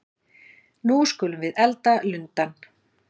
Nú skulum við elda lundann!